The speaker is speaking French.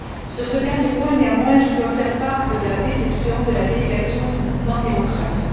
Sur ce dernier point, néanmoins, je dois faire part de la déception de la délégation du Mouvement démocrate.